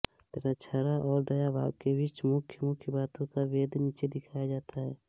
मिताक्षरा और दायभाग के बीच मुख्य मुख्य बातों का भेद नीचे दिखाया जाता हैः